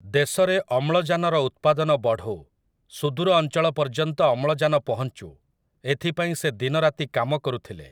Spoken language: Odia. ଦେଶରେ ଅମ୍ଳଜାନର ଉତ୍ପାଦନ ବଢ଼ୁ, ସୁଦୂର ଅଞ୍ଚଳ ପର୍ଯ୍ୟନ୍ତ ଅମ୍ଳଜାନ ପହଂଚୁ, ଏଥିପାଇଁ ସେ ଦିନରାତି କାମ କରୁଥିଲେ ।